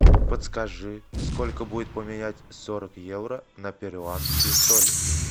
подскажи сколько будет поменять сорок евро на перуанские соли